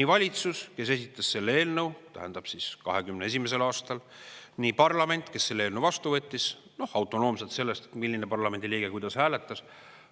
nii valitsus, kes esitas selle eelnõu 2021. aastal, kui ka parlament, kes selle eelnõu vastu võttis, noh, autonoomselt sellest, kuidas milline parlamendiliige hääletas.